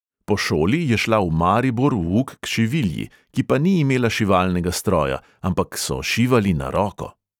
Po šoli je šla v maribor v uk k šivilji, ki pa ni imela šivalnega stroja, ampak so šivali na roko.